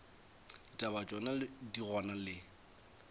ditaba tšona di gona le